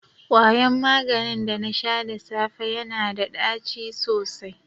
kwaryan maganin da na sha da safe yana da ɗaci sosai.